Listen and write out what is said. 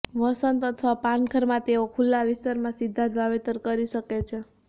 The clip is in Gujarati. વસંત અથવા પાનખરમાં તેઓ ખુલ્લા વિસ્તારમાં સીધા જ વાવેતર કરી શકે છે